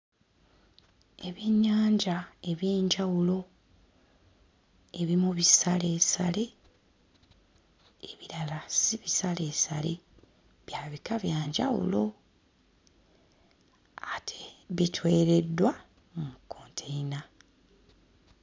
Ebyennyanja eby'enjawulo ebimu bisaleesale ebirala si bisaleesale bya bika bya njawulo ate bitwereddwa mu kkonteyina.